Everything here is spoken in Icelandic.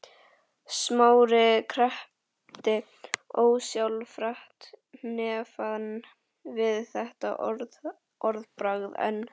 Smári kreppti ósjálfrátt hnefann við þetta orðbragð en